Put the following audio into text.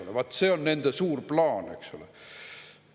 Vaat see on nende suur plaan!